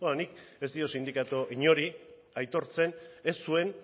beno nik ez diot sindikatu inori aitortzen ez zuen